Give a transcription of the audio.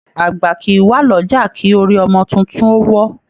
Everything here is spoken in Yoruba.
Àgbà kìí wá l'ọja kí orí ọmọ títún o wọ́.